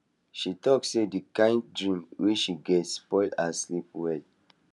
she talk say the kind dream wey she get spoil her sleep well